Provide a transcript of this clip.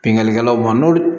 Bingani kɛlaw ma n'olu